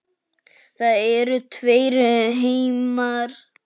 Það eru tveir heimar.